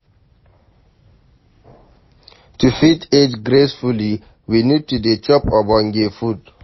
To fit age gracefully we need to dey chop ogbonge food